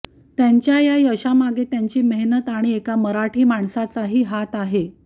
त्यांच्या या यशामागे त्यांची मेहनत आणि एका मराठी माणसाचाही हात आहे